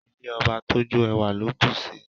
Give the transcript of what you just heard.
Ilé ọba tójó ẹwà ló bùsi